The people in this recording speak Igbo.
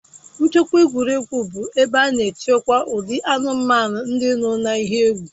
Nchekwa egwuregwu bụ ebe a na-echekwa ụdị anụmanụ ndị nọ n'ihe egwu